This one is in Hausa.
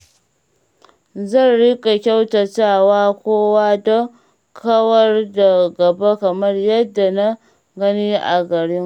Zan riƙa kyautata wa kowa don kawar da gaba kamar yadda na gani a garinmu.